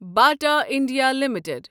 Bata India limited